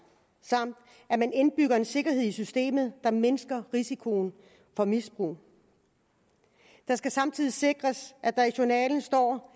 samt at man indbygger en sikkerhed i systemet der mindsker risikoen for misbrug det skal samtidig sikres at der i journalen står